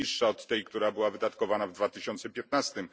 jest niższa od tej, która została wydatkowana w 2015 r.,